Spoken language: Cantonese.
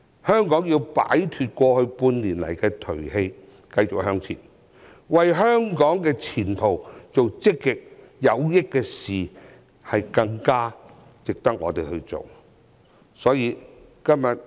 香港要擺脫過去半年的頹氣，繼續向前，為香港的前途做積極有益的事，這是更值得我們去做的事。